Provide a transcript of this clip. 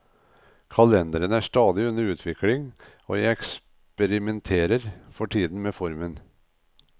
Kalenderen er stadig under utvikling, og jeg eksperimenterer for tiden med formen.